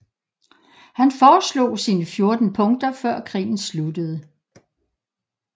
Han foreslog sine 14 punkter før krigen sluttede